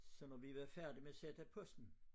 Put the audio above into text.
Så når vi var færdige med at sætte posten